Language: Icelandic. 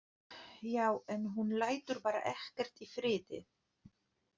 Já, en hún lætur bara ekkert í friði.